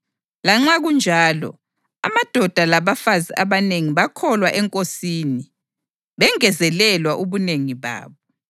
Lanxa kunjalo, amadoda labafazi abanengi bakholwa eNkosini, bengezelela ubunengi babo.